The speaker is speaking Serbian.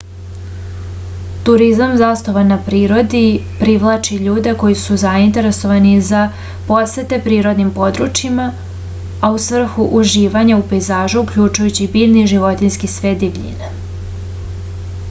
turizam zasnovan na prirodi privlači ljude koji su zainteresovani za posete prirodnim područjima a u svrhu uživanja u pejzažu uključjujući biljni i životinjski svet divljine